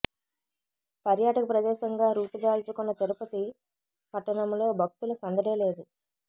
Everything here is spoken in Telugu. పర్యాటక ప్రదేశంగా రూపు దాల్చుకున్న తిరుపతి పట్టణంలో భక్తుల సందడే లేదు